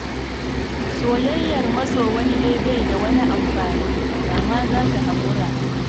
Soyayyar maso wani dai bai da wani amfani, da ma za ka haƙura